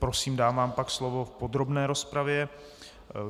Prosím, dám vám pak slovo v podrobné rozpravě.